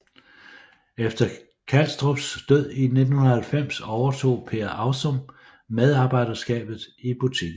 Efter Kalstrups død i 1990 overtog Per Avsum medarbejderskabet i butikken